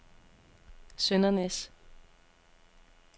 Søndernæs